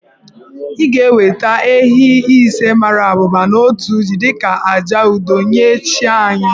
I ga-eweta ehi ise mara abụba na otu jì dị ka àjà udo nye chi anyị